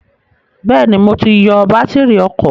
Bẹ́ẹ̀ni, mo ti yọ bátírì ọkọ̀